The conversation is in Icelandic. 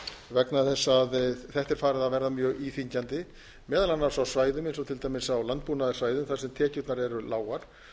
vegna þess að þetta er farið að verða mjög íþyngjandi meðal annars á svæðum eins og til dæmis á landbúnaðarsvæðum þar sem tekjurnar eru lágar og